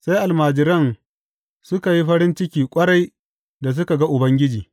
Sai almajiran suka yi farin ciki ƙwarai da suka ga Ubangiji.